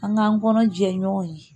An k'an kɔnɔ jɛɲɔgɔn ye